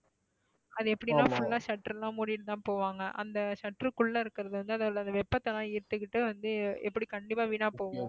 அது எப்படின்னா full ஆ shutter லாம் மூடிட்டுதான் போவாங்க அந்த shutter க்குள்ள இருக்கிறது வந்து அந்த வெப்பத்தை எல்லாம் எடுத்துக்கிட்டு வந்து எப்படி கண்டிப்பா வீணா போகும்